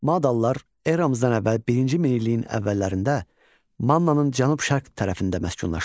Madalılar eramızdan əvvəl birinci minilliyin əvvəllərində Mannanın cənub-şərq tərəfində məskunlaşmışdılar.